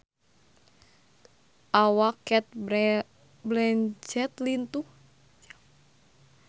Awak Cate Blanchett lintuh